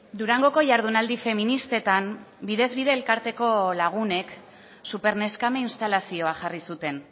durangoko jardunaldi feministetan bidez bide elkarteko lagunek superneskame instalazioa jarri zuten